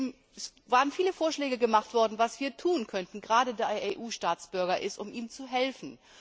Es wurden viele Vorschläge gemacht, was wir tun könnten gerade da er EU Staatsbürger ist um ihm zu helfen.